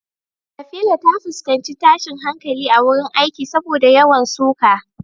Safira ta fuskanci tashin hankali a wurin aiki saboda yawan suka.